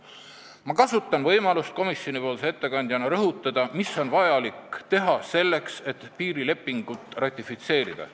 Ma kasutan võimalust komisjoni ettekandjana rõhutada, mida on vaja selleks, et piirilepingut ratifitseerida.